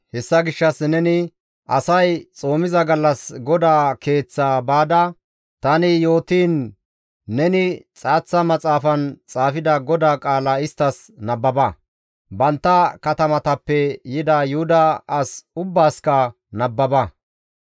Hessa gishshas neni asay xoomiza gallas GODAA Keeththaa baada, tani yootiin, neni xaaththa maxaafan xaafida GODAA qaala isttas nababa; bantta katamatappe yida Yuhuda as ubbaasikka nababa.